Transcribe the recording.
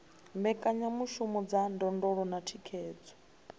mbekanyamishumo dza ndondolo na thikhedzo